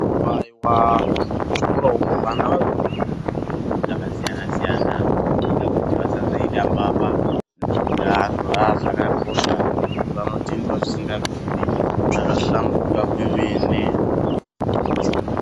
Haiwaiwa muzvikora umu vana vanodzidza zvakasiyana siyana kudzidza kuti vasaita mbavha dzinozobira antu haa zvakakosha zvinobatendwa zvisingabviri zvabahlamburuka kwemene.